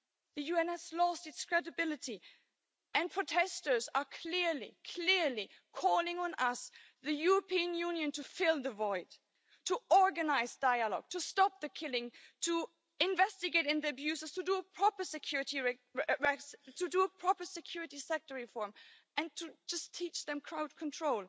The UN has lost its credibility and protesters are clearly, clearly calling on us, the European Union, to fill the void, to organise dialogue, to stop the killing, to investigate the abuses, to do a proper security sector reform and to just teach them crowd control.